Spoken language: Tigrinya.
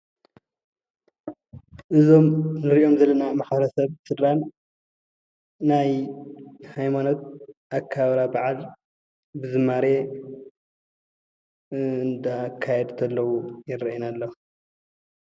እዞም እንሪኦም ዘለና ማሕበረሰብን ስድራን ናይ ሃይማኖት ኣከባብራ ብዓል ብዝማሬ እንዳ ካየዱ ተለው ይረአዩና ኣለው።